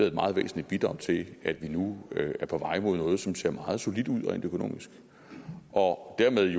et meget væsentligt bidrag til at vi nu er på vej mod noget som ser meget solidt ud rent økonomisk og dermed